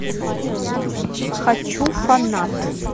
хочу фанат